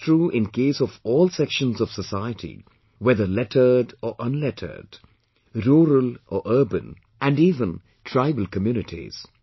This is true in case of all sections of society whether lettered or unlettered , rural or urban and even tribal communities